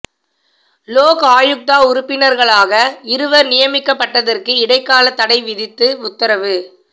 லோக் ஆயுக்தா உறுப்பினர்களாக இருவர் நியமிக்கப்பட்டதற்கு இடைக்காலத் தடை விதித்து உத்தரவு